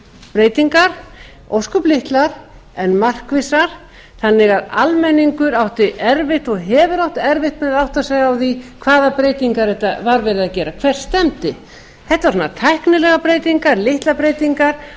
breytingar ósköp litlar en markvissar þannig að almenningur átti erfitt og hefur átt erfitt með að átta sig á því hvaða breytingar var verið að gera hvert stefndi þetta voru svona tæknilegar breytingar litlar breytingar og